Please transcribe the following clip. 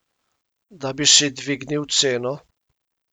Da bi si dvignil ceno?